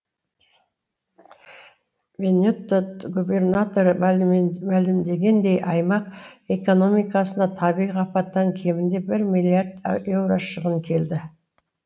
венетто губернаторы мәлімдегендей аймақ экономикасына табиғи апаттан кемінде бір миллиард еуро шығын келді